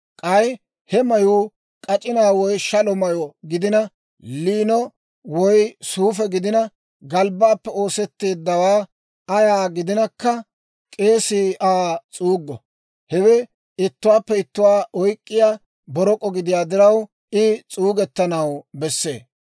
K'ay he mayuu k'ac'inaa woy shalo mayyo gidina, liino woy suufe gidina, galbbaappe oosetteeddawaa ayaa gidinakka, k'eesii Aa s'uuggo. Hewe ittuwaappe ittuwaa oyk'k'iyaa borok'o gidiyaa diraw, I s'uugettanaw bessee.